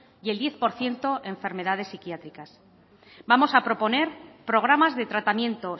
y el diez por ciento enfermedades psiquiátricas vamos a proponer programas de tratamiento